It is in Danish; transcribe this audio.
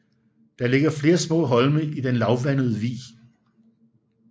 Der ligger flere små holme i den lavvandede vig